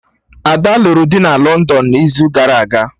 Ada lụrụ di na London n'izu gara aga